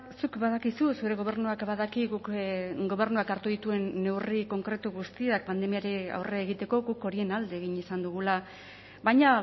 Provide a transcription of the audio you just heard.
zuk badakizu zure gobernuak badaki guk gobernuak hartu dituen neurri konkretu guztiak pandemiari aurre egiteko guk horien alde egin izan dugula baina